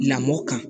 Lamɔ kan